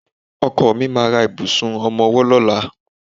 Ọkọ mi ma ra ìbùsùn ọmọwọ́ lọ́la.